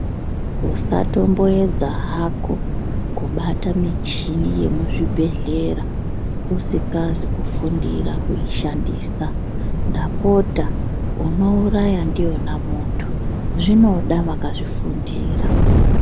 Usatomboedza hako kubata michini yemuzvibhehlera usingazi kufundira kuishandisa ndapota unouraya ndiyona muntu zvinoda vakazvifundira